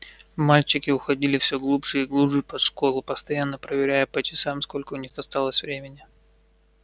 мальчики уходили всё глубже и глубже под школу постоянно проверяя по часам сколько у них осталось времени